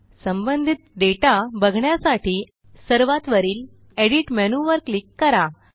संबंधित डेटा बघण्यासाठी सर्वात वरील एडिट मेनूवर क्लिक करा